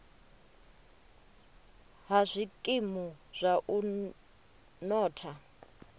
ha zwikimu zwa u notha